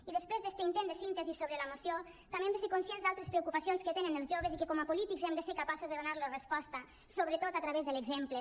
i després d’este intent de síntesi sobre la moció també hem de ser conscients d’altres preocupacions que tenen els joves i que com a polítics hem de ser capaços de donar los resposta sobretot a través de l’exemple